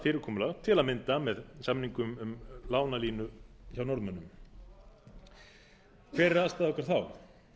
annað fyrirkomulag til að mynda með samningum um lánalínu hjá norðmönnum hver er aðstaða okkar þá